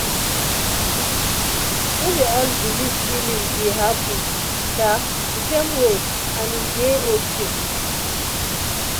no be all people believe healing dey happen um the same way and e dey okay.